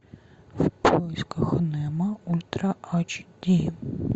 в поисках немо ультра ач ди